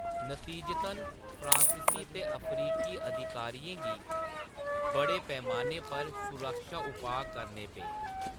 नतीजतन, फ्रांसीसी ते अफ्रीकी अधिकारियें गी बड़े पैमाने पर सुरक्षा उपाऽ करने पे।